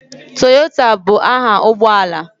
Toyota bụ aha ụgbọ ala.